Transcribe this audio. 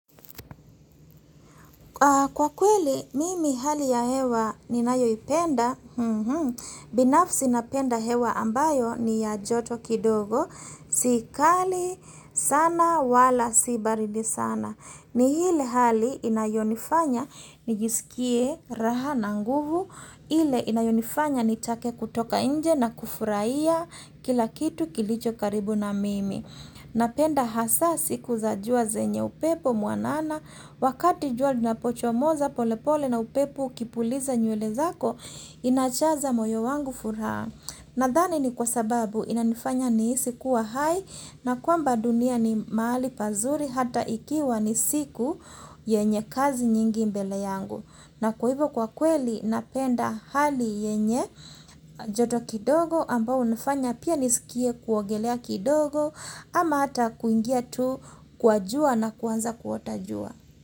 Kwa kweli, mimi hali ya hewa ninayoipenda, binafsi napenda hewa ambayo ni ya joto kidogo, si kali, sana, wala, si baridi sana. Ni ile hali inayonifanya, nijisikie raha na nguvu, ile inayonifanya nitake kutoka nje na kufurahia kila kitu kilicho karibu na mimi. Napenda hasa siku za jua zenye upepo mwanana, wakati jua linapochomoza polepole na upepo ukipuliza nywele zako, inajaza moyo wangu furaha. Nadhani ni kwa sababu inanifanya nihisi kuwa hai na kwamba dunia ni mahali pazuri hata ikiwa ni siku yenye kazi nyingi mbele yangu. Na kwa hivyo kwa kweli napenda hali yenye joto kidogo ambao hunifanya pia nisikie kuogelea kidogo ama hata kuingia tu kwa jua na kuanza kuota jua.